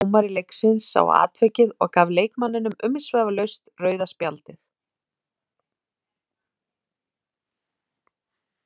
Góður dómari leiksins sá atvikið og gaf leikmanninum umsvifalaust rauða spjaldið.